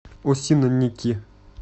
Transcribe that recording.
осинники